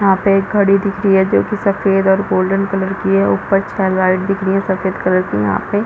यहाँ पे एक घड़ी दिख रही जो की सफ़ेद और गोल्डन कलर की है ऊपर से लाइट दिख रही है सफ़ेद कलर की यहाँ पे--